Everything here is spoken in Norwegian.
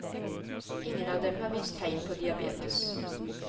Ingen av dem har vist tegn på diabetes.